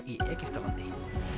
í Egyptalandi